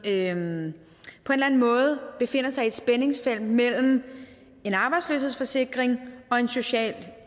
eller anden måde befinder sig i et spændingsfelt mellem en arbejdsløshedsforsikring og en social